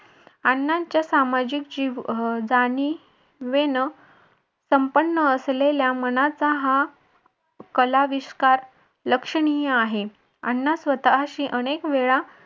अण्णांच्या सामाजिक जाणिवेनं संपन्न असलेल्या मनाचा हा कलाविष्कार लक्षणीय आहे. अण्णा स्वतःशी अनेक वेळा